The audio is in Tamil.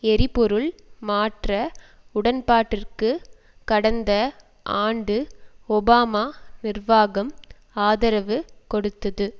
எரிபொருள் மாற்ற உடன்பாட்டிற்கு கடந்த ஆண்டு ஒபாமா நிர்வாகம் ஆதரவு கொடுத்தது